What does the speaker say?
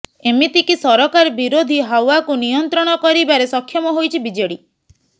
ଏମିତିକି ସରକାର ବିରୋଧୀ ହାୱାକୁ ନିୟନ୍ତ୍ରଣ କରିବାରେ ସକ୍ଷମ ହୋଇଛି ବିଜେଡି